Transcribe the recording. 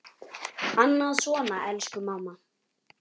Annað svona: Elsku mamma!